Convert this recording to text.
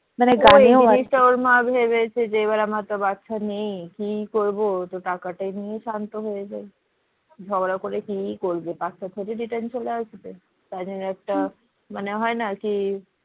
ওর মা ভেবেছে যে এবার আমার তো বাচ্চা নেই তো কি করবো তো টাকা নিয়েই শান্ত হয়ে যাই। ঝগড়া করে কি করবে বাচ্চা থুড়ী return চলে আসবে তাই জন্য একটা মানে হয় না কি